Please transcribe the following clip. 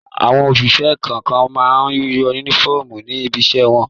Àwọn òṣìṣẹ́ kọ̀ọ̀kan máa ń únífọ́ọ́mù ní ibiṣẹ́ wọn.